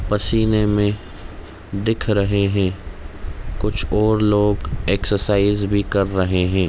पसीने में दिख रहें हैं कुछ और लोग एक्सरसाइज भी कर रहें हैं।